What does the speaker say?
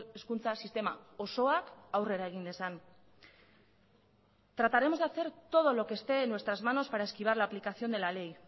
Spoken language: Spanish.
hezkuntza sistema osoak aurrera egin dezan trataremos de hacer todo lo que esté en nuestras manos para esquivar la aplicación de la ley